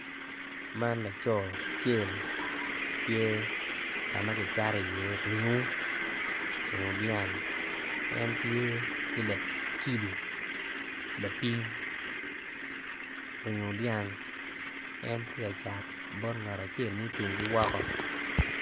Man laco acel tye ka ma kicato iye ringo ringo dyang en tye ki kilo lapim en tye ka cat bot ngat acel ma ocung ki woko.